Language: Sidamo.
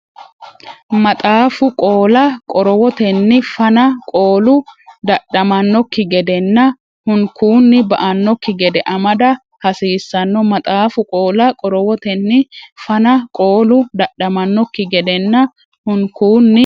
Maxaafu qoola qorowotenni fana, qoolu dadhamannokki gedenna hunkuunni ba”annokki gede amada hsiissanno Maxaafu qoola qorowotenni fana, qoolu dadhamannokki gedenna hunkuunni.